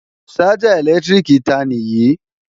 Ṣájà ẹ̀lẹ́tíríkì ta nì yí?